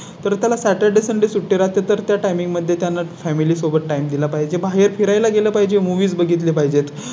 तर त्याला Saturday sunday सुट्टी राहते तर त्या Timing मध्ये त्यांना Family सोबत Time दिला पाहिजे. बाहेर फिरायला गेलं पाहिजे मूव्ही बघितले पाहिजेत